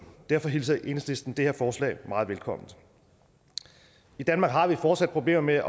derfor hilser enhedslisten det her forslag meget velkommen i danmark har vi fortsat problemer med